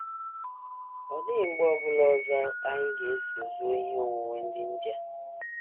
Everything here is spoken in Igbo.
Ọ dịghị mgbe ọ bụla ọzọ anyị ga - eso zuo ihe onwunwe ndị India....